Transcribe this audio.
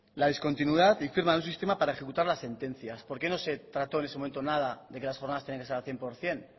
la discontinuidad y firma de un sistema para ejecutar las sentencias por qué no se trató en ese momento nada de que las jornadas tenían que ser al cien por ciento